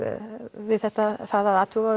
við þetta að athuga